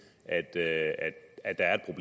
der er